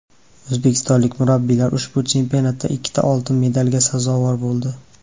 O‘zbekistonlik murabbiylar ushbu chempionatda ikkita oltin medalga sazovor bo‘ldi.